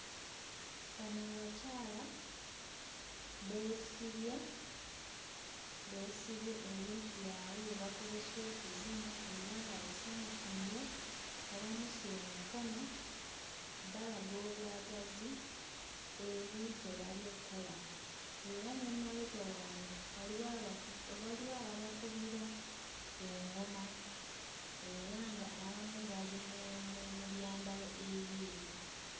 Bano abakyala beesibye, beesibye ebintu byabwe bye bakozesa okuzina era nga basanyufu nnyo, bawanise emikono, balaga obwagazi eri kye bali okkola. Era n'emabega waabwe waliwo abaku waliwo ababakubira eŋŋoma era ng'abamu bali mu mu byambalo ebyeru.